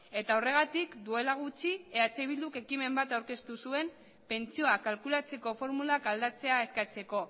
eta horregatik duela gutxi eh bilduk ekimen bat aurkeztu zuen pentsioak kalkulatzeko formulak aldatzea eskatzeko